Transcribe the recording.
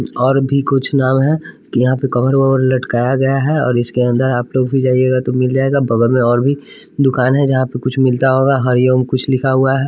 और भी कुछ नाव हैं कि यहां पे कवर ववर लटकाया गया है और इसके अंदर आपलोग भी जाइएगा तो मिल जाएगा बगल में और भी दुकान हैं जहां पे कुछ मिलता होगा हरिओम कुछ लिखा हुआ है।